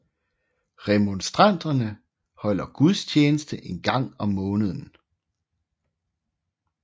Remonstranterne holder gudstjeneste en gang om måneden